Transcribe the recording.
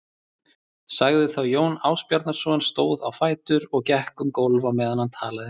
sagði þá Jón Ásbjarnarson, stóð á fætur og gekk um gólf á meðan hann talaði